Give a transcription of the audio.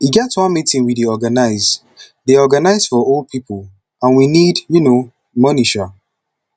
e get one meeting we dey organize dey organize for old people and we need um money um